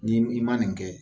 N'i ma nin kɛ